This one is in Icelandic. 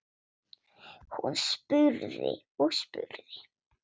Hún spurði og spurði.